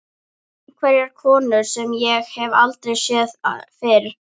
Einhverja konu sem ég hef aldrei séð fyrr.